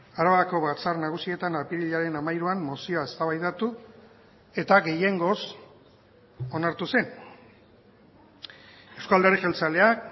arabako batzar nagusietan apirilaren hamairuan mozioa eztabaidatu eta gehiengoz onartu zen euzko alderdi jeltzaleak